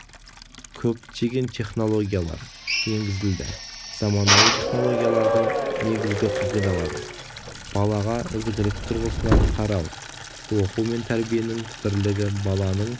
көптеген технологиялар енгізілді заманауи технологиялардың негізгі қағидалары балаға ізігілік тұрғысынан қарау оқу мен тәрбиенің бірлігі баланың